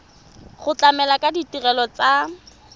go tlamela ka ditirelo tsa